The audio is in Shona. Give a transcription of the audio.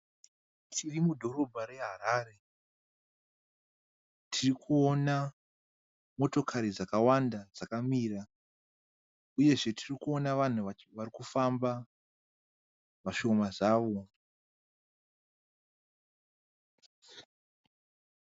Tiri mudhorobha reHarare. Tirikuona motokari dzakawanda dzakamira uyezve tirikuona vanhu varikufamba vashoma zvavo.